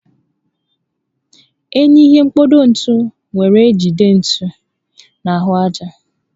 Enyi ihe mkpado ntu were ejide ntu na ahụ aja